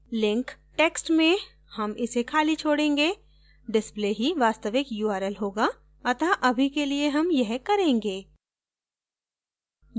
link text में हम इसे खाली छोडेंगे display ही वास्तविक url होगा अत: अभी के लिए हम यह करेंगे